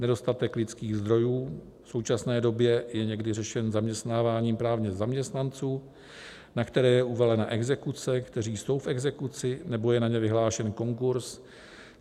Nedostatek lidských zdrojů v současné době je někdy řešen zaměstnáváním právě zaměstnanců, na které je uvalena exekuce, kteří jsou v exekuci nebo je na ně vyhlášen konkurz.